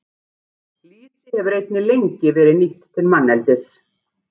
Lýsi hefur einnig lengi verið nýtt til manneldis.